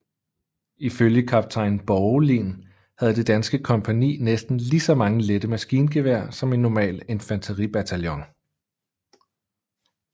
Ifølge kaptajn Borgelin havde det danske kompagni næsten lige så mange lette maskingevær som en normal infanteribataljon